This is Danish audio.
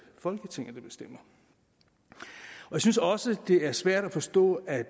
folketinget der bestemmer jeg synes også det er svært at forstå at